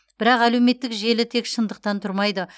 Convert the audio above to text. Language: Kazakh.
бірақ әлеуметтік желі тек шындықтан тұрмайды